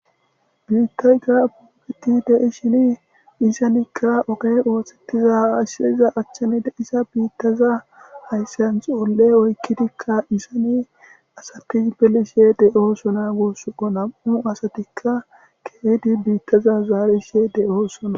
biittay ga pubbeti deis shini isanikka ogey oothtettiza ashseza achchani de issa biittaza haysseyn xoolle oykkidikka isani asati pelishe de7osona goossoko nam7u asatikka keeydi biittaza zaarishe de7osona